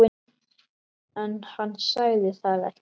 En hann sagði það ekki.